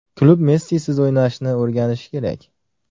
Klub Messisiz o‘ynashni o‘rganishi kerak.